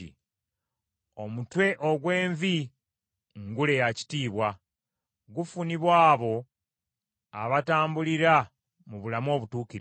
Omutwe ogw’envi ngule ya kitiibwa, gufunibwa abo abatambulira mu bulamu obutuukirivu.